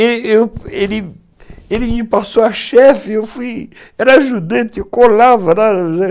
Ele me passou a chefe, eu fui, era ajudante, eu colava lá